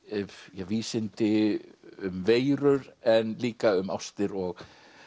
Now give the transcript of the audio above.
vísindi um veirur en líka um ástir og